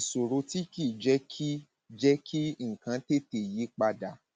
ìṣòro tí kì í jẹ kí jẹ kí nǹkan tètè yí pa dà